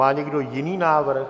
Má někdo jiný návrh?